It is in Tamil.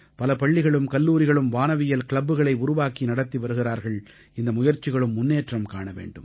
பல பள்ளிகளும் கல்லூரிகளும் வானவியல் க்ளப்புகளை உருவாக்கி நடத்தி வருகிறார்கள் இந்த முயற்சிகளும் முன்னேற்றம் காண வேண்டும்